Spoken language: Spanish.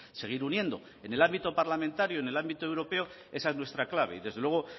seguir uniendo en el ámbito parlamentario en el ámbito europeo esa es nuestra clave y desde luego